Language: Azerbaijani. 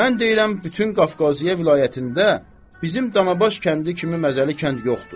Mən deyirəm bütün Qafqasiyə vilayətində bizim Danabaş kəndi kimi məzəli kənd yoxdur.